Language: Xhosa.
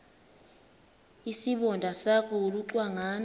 isibonda sakho ulucangwana